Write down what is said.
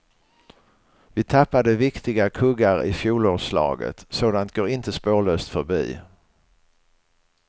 Vi tappade viktiga kuggar i fjolårslaget, sådant går inte spårlöst förbi.